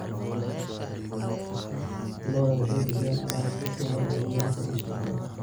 Lo'da lo'da waxay bixiyaan alaab si sahal ah looga heli karo suuqyada.